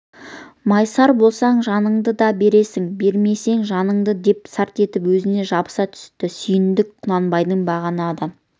майысар болсаң жаныңды да берерсің беремісің жаныңды деп сарт етіп өзіне жабыса түсті сүйіндік құнанбайдың бағанадан